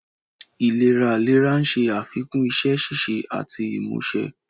Ìléraléra ń ṣe àfikún iṣẹ́ ṣíṣe àti ìmúṣe.